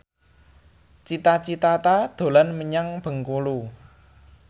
Cita Citata dolan menyang Bengkulu